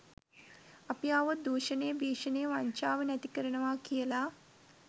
අපි ආවොත් දුෂණය භිෂණය වංචාව නැති කරනවා කියලා